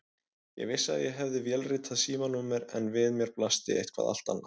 Ég vissi að ég hafði vélritað símanúmer en við mér blasti eitthvað allt annað.